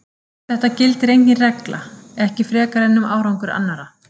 Um þetta gildir engin regla, ekki frekar en um árangur annarra.